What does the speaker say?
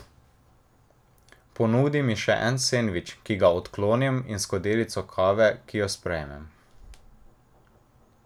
Ponudi mi še en sendvič, ki ga odklonim, in skodelico kave, ki jo sprejmem.